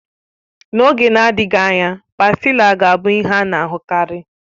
N'oge na-adịghị anya, Pástila ga-abụ ihe a na-ahụkarị